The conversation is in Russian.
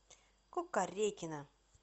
кукарекина